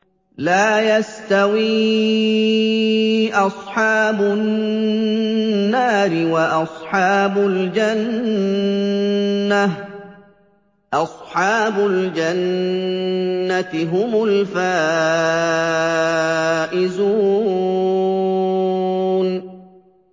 لَا يَسْتَوِي أَصْحَابُ النَّارِ وَأَصْحَابُ الْجَنَّةِ ۚ أَصْحَابُ الْجَنَّةِ هُمُ الْفَائِزُونَ